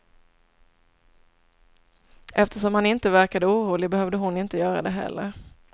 Eftersom han inte verkade orolig behövde hon inte göra det heller.